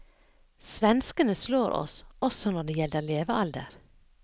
Svenskene slår oss også når det gjelder levealder.